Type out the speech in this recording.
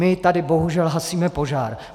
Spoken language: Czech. My tady bohužel hasíme požár.